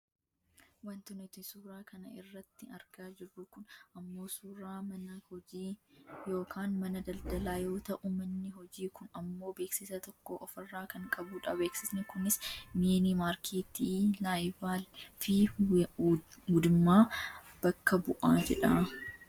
Wanti nuti suura kana irratti argaa jirru kun ammoo suuraa mana hojii yookaan mana daldaalaa yoo ta'u manni hojii kun ammoo beeksisa tokko ofirraa kan qabudha. Beeksisni kunis miinii maarkeettii laayilaabfi wudimaa bakka bu'a jedha.